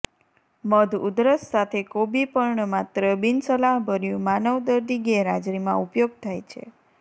મધ ઉધરસ સાથે કોબી પર્ણ માત્ર બિનસલાહભર્યું માનવ દર્દી ગેરહાજરીમાં ઉપયોગ થાય છે